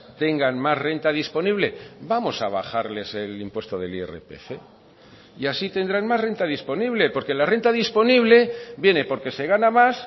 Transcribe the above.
tengan más renta disponible vamos a bajarles el impuesto del irpf y así tendrán más renta disponible porque la renta disponible viene porque se gana más